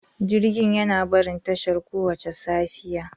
Jirgin yana barin tashar kowace safiya.